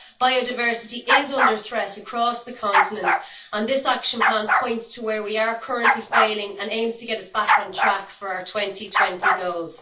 Biodiversity is under threat across the continent, and this action plan points to where we are currently failing and aims to get us back on track for our 2020 goals.